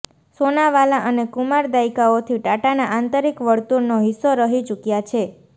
સોનાવાલા અને કુમાર દાયકાઓથી ટાટાના આંતરિક વર્તુળનો હિસ્સો રહી ચૂક્યા છે